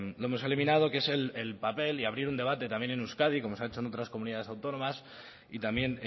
lo hemos eliminado que es el papel y abrir un debate también en euskadi como se ha hecho en otras comunidades autónomas y también